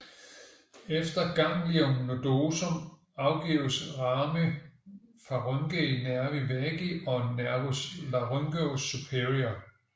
Efter ganglion nodosum afgives rami pharyngei nervi vagi og nervus laryngeus superior